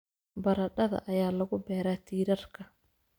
Baradhada ayaa lagu beeraa tiirarka